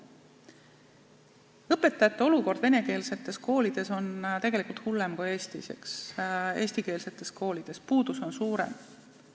Olukord õpetajatega venekeelsetes koolides on tegelikult hullem kui eestikeelsetes koolides, seal on õpetajate puudus suurem.